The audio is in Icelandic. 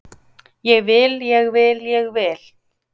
Ég vil, ég vil, ég vil